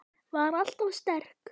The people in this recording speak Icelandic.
Var alltaf sterk.